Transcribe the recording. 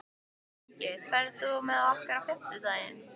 Ingi, ferð þú með okkur á fimmtudaginn?